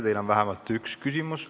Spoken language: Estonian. Teile on vähemalt üks küsimus.